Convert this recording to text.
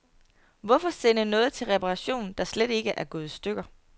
Hvorfor sende noget til reparation, der slet ikke er gået i stykker.